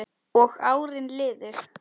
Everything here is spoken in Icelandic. Og árin liðu.